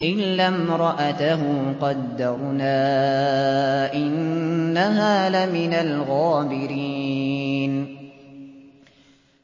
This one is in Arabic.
إِلَّا امْرَأَتَهُ قَدَّرْنَا ۙ إِنَّهَا لَمِنَ الْغَابِرِينَ